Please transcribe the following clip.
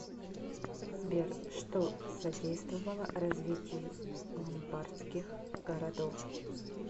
сбер что содействовало развитию ломбардских городов